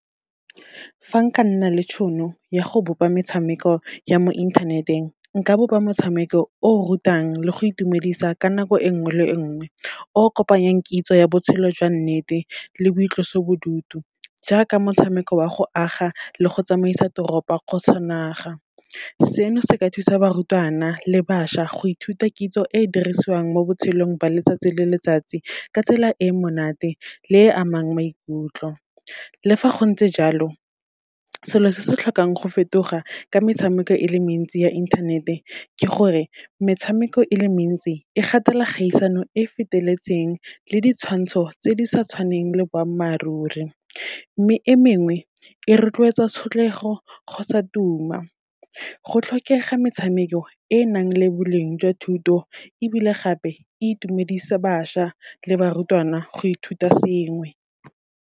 Fa nka nna le tšhono ya go bopa metshameko ya mo inthaneteng, nka bopa motshameko o o rutang le go itumedisa ka nako e nngwe le nngwe, o kopanyang kitso ya botshelo jwa nnete le boitlosobodutu, jaaka motshameko wa go aga le go tsamaisa toropo kgotsa naga. Seno se ka thusa barutwana le bašwa, go ithuta kitso e e dirisiwang mo botshelong ba letsatsi le letsatsi, ka tsela e e monate le e amang maikutlo. Le fa go ntse jalo, selo se se tlhokang go fetoga ka metshameko e le mentsi ya inthanete, ke gore metshameko e le mentsi, e gatela kgaisano e feteletseng, le ditshwantsho tse di sa tshwaneng le boammaaruri, mme e mengwe, e rotloetsa tshotlego kgotsa tuma. Go tlhokega metshameko e nang le boleng jwa thuto, ebile gape e itumedisa bašwa le barutwana go ithuta sengwe.